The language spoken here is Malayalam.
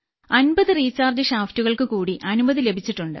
50 റീചാർജ് ഷാഫ്റ്റുകൾക്ക് കൂടി അനുമതി ലഭിച്ചിട്ടുണ്ട്